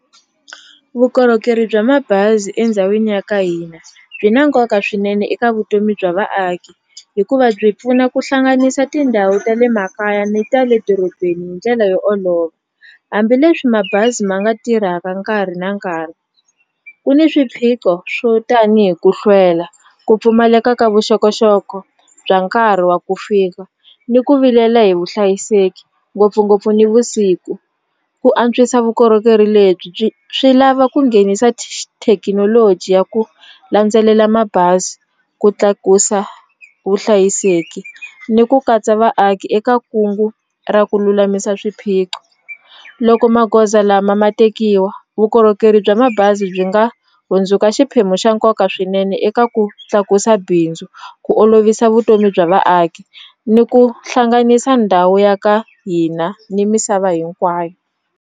Vukorhokeri bya mabazi endhawini ya ka hina byi na nkoka swinene eka vutomi bya vaaki hikuva byi pfuna ku hlanganisa tindhawu ta le makaya ni ta le dorobeni ndlela yo olova hambileswi mabazi ma nga tirhaka nkarhi na nkarhi ku ni swiphiqo swo tanihi ku hlwela ku pfumaleka ka vuxokoxoko bya nkarhi wa ku fika ni ku vilela hi vuhlayiseki ngopfungopfu nivusiku ku antswisa vukorhokeri lebyi byi swi lava ku nghenisa thekinoloji ya ku landzelela mabazi ku tlakusa vuhlayiseki ni ku katsa vaaki eka kungu ra ku lulamisa swiphiqo loko magoza lama ma tekiwa vukorhokeri bya mabazi byi nga hundzuka xiphemu xa nkoka swinene eka ku tlakusa bindzu ku olovisa vutomi bya vaaki ni ku hlanganisa ndhawu ya ka hina ni misava hinkwayo.